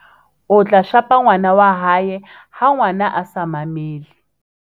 o tla shapa ngwana wahae ha ngwana a sa mamele